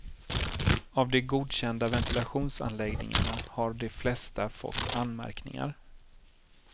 Av de godkända ventilationsanläggningarna har de flesta fått anmärkningar.